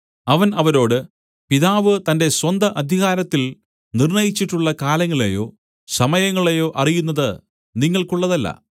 അവൻ അവരോട് പിതാവ് തന്റെ സ്വന്ത അധികാരത്തിൽ നിര്‍ണയിച്ചിട്ടുള്ള കാലങ്ങളെയോ സമയങ്ങളെയോ അറിയുന്നത് നിങ്ങൾക്കുള്ളതല്ല